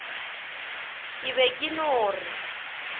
ke be ke no re